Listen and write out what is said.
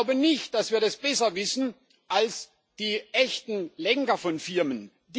Ich glaube nicht, dass wir das besser wissen als die echten Lenker von Firmen.